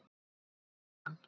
Gegnum símann.